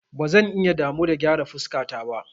Ba zan iya damu da gyara fuskata ba.